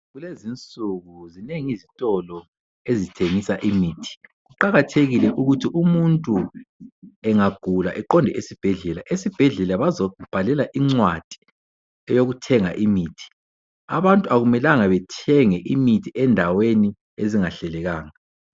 Kulezinsuku zinengi izitolo ezithengisa imithi. Kuqakathekile ukuthi umuntu engagula eqonde esibhedlela. Esibhedlela bazombhalela incwadi eyokuthenga imithi. Abantu akumelanga bethenge imithi ezindaweni ezingahlelekanga.